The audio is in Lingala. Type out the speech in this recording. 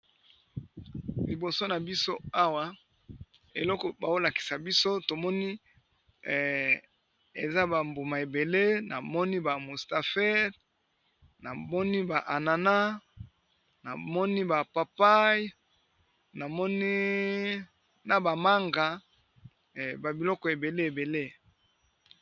liboso na biso awa eloko baolakisa biso tomoni eza bambuma ebele na moni ba mustafer na moni ba anana na moni ba papay amina bamanga ba biloko ebele ebele